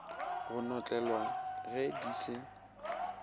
go notlelwa ge di se